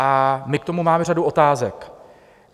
A my k tomu máme řadu otázek.